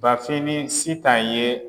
Bafin ni Sitan ye